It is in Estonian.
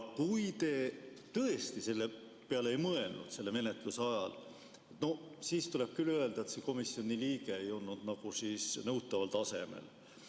Kui te tõesti selle peale ei mõelnud menetluse ajal, siis tuleb küll öelda, et see komisjoni liige ei olnud nõutaval tasemel.